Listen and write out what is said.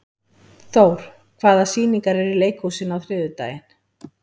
Thór, hvaða sýningar eru í leikhúsinu á þriðjudaginn?